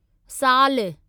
साल